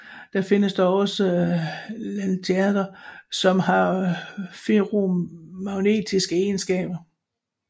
Der findes dog også Lanthanider som har ferromagnetiske egenskaber